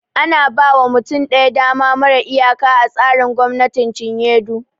Ana ba wa mutum ɗaya dama mara iyaka a tsarin gwamnatin cinye du